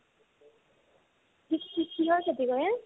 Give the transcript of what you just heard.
কি ~ কি কিহৰ খেতি কৰে ?